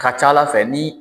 Ka ca ala fɛ ni